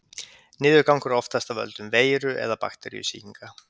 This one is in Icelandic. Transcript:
niðurgangur er oftast af völdum veiru eða bakteríusýkinga